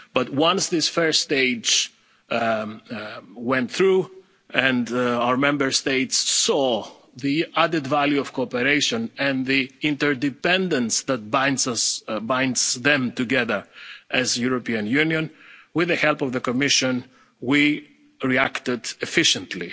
coordination. But, once this first stage went through and our Member States saw the added value of cooperation and the interdependence that binds them together as the European Union, with the help of the Commission, we reacted